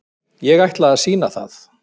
Ég ætla að sýna það.